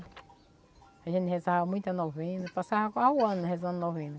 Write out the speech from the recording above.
A gente rezava muita novena, passava quase o ano rezando novena.